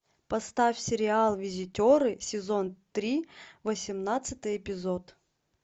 поставь сериал визитеры сезон три восемнадцатый эпизод